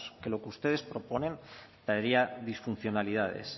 que lo ustedes proponen traerían disfuncionalidades